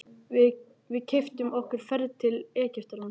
Við keyptum okkur ferð til Egyptalands.